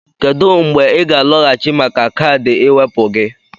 Kedu mgbe ị ga-alọghachi maka kaadị ịwepụ gị?